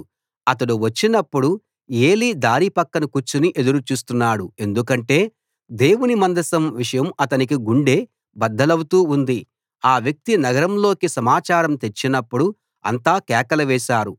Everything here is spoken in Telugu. అతడు వచ్చినప్పుడు ఏలీ దారి పక్కన కూర్చుని ఎదురు చూస్తున్నాడు ఎందుకంటే దేవుని మందసం విషయం అతనికి గుండె బద్దలౌతూ ఉంది ఆ వ్యక్తి నగరంలోకి సమాచారం తెచ్చినప్పుడు అంతా కేకలు వేశారు